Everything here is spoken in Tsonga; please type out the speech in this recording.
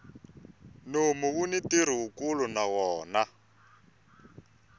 nomu wuni ntirho wukulu na wona